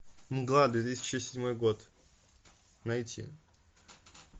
мгла две тысячи седьмой год найти